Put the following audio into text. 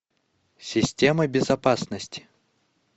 система безопасности